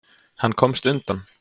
Hann komst undan.